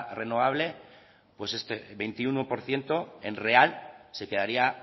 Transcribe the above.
renovable pues este veintiuno por ciento en real se quedaría